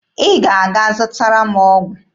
Ị ga-aga zụtara m ọgwụ.